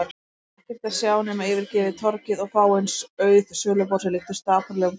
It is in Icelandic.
Ekkert að sjá nema yfirgefið torgið og fáein auð söluborð sem líktust dapurlegum gálgum.